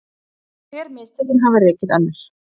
Hver mistökin hafa rekið önnur